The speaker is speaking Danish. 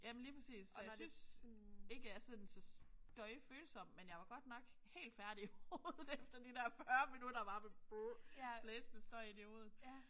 Jamen lige præcis. Og jeg synes ikke at jeg er sådan så støjfølsom men jeg var godt nok helt færdig i hovedet efter de der 40 minutter bare med blæsende støj ind i hovedet